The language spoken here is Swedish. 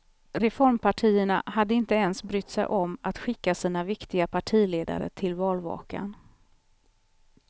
Reformpartierna hade inte ens brytt sig om att skicka sina viktiga partiledare till valvakan.